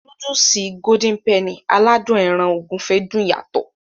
Núdùùsì "Golden Penny" aládùn ẹran ògúfe dùn yàtọ̀.